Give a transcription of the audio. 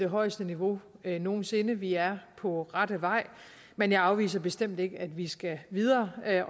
højeste niveau nogen sinde vi er på rette vej men jeg afviser bestemt ikke at vi skal videre og at